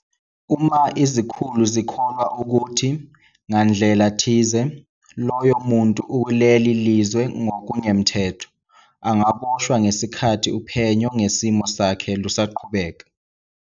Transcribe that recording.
Uma izikhulu zikholwa ukuthi, ngandlela thize, loyo muntu ukuleli lizwe ngokungemthetho, angaboshwa ngesikhathi uphenyo ngesimo sakhe lusaqhubeka.